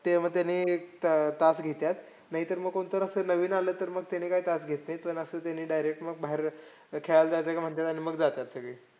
ते मग त्यांनी तास घेत्यात. नाहीतर मग कोणपण असं नवीन आलं तर मग त्यांनी काय तास घेत नाहीत. पण असं त्यांनी direct मग बाहेर जायचं खेळायला जायचं का म्हणत्यात. आणि मग जात्यात सगळे.